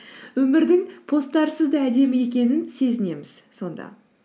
өмірдің посттарсыз да әдемі екенін сезінеміз сонда